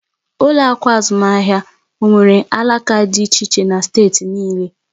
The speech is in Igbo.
Ụlọ akụ azụmaahịa onwere alaka dị iche iche na steeti niile?